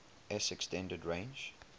s extended range